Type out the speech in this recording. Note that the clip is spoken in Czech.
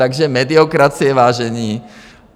Takže mediokracie, vážení.